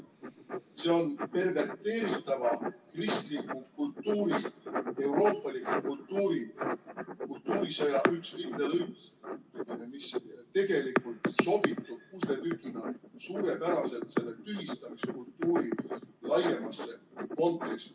See on perverteeritava kristliku kultuuri, euroopaliku kultuuri, kultuurisõja üks kindel õis, mis tegelikult sobitub pusletükina suurepäraselt selle tühistamiskultuuri laiemasse konteksti.